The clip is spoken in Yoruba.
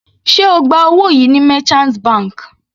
Sé ó gba owó yìí ní merchant bank?